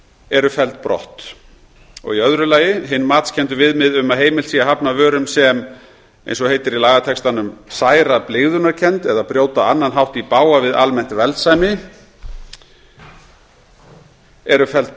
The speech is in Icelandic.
eru felld brott annars hin matskenndu viðmið um að heimilt sé að hafna vörum sem eins og það heitir í lagatextanum særa blygðunarkennd eða brjóta á annan hátt í bága við almennt velsæmi eru felld